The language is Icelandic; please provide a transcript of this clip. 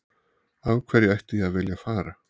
Af hverju ætti ég að vilja að fara?